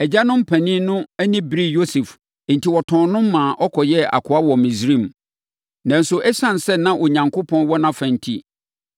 “Agyanom mpanin no ani beree Yosef enti wɔtɔn no maa ɔkɔyɛɛ akoa wɔ Misraim. Nanso, ɛsiane sɛ na Onyankopɔn wɔ nʼafa enti,